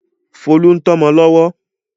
Folú ń tọ́mọ lọ́wọ́.